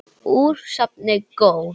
Úr safni GÓ.